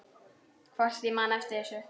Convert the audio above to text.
Hvort ég man eftir þessu.